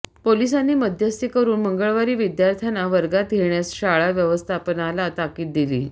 पोलिसांनी मध्यस्थी करून मंगळवारी विद्यार्थ्यांना वर्गात घेण्यास शाळा व्यवस्थापनाला ताकीद दिली